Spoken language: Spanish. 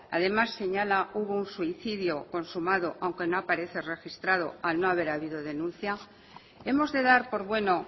además señala hubo un suicidio consumado aunque no aparece registrado al no haber habido denuncia hemos de dar por bueno